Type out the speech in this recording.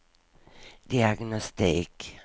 diagnostik